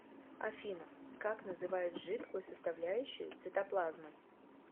афина как называют жидкую составляющую цитоплазмы